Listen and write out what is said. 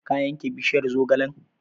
Ka yanke bishiyar zogalen?